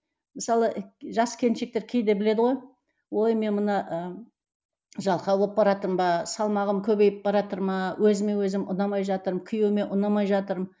мысалы ы жас келіншектер кейде біледі ғой ой мен мына ыыы жалқау болып баратырмын ба салмағым көбейіп баратыр ма өзіме өзім ұнамай жатырмын күйеуіме ұнамай жатырмын